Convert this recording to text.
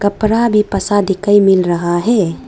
कपड़ा भी फंसा दिखाई मिल रहा है।